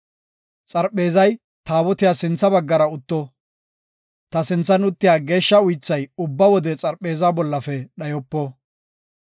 Xarpheezay Taabotiyas sintha baggara utto. Ta sinthan uttiya geeshsha uythay ubba wode xarpheezaa bollafe dhayopo.”